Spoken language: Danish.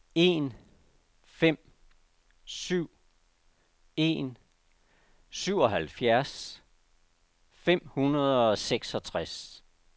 en fem syv en syvoghalvfjerds fem hundrede og seksogtres